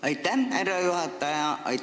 Aitäh, härra juhataja!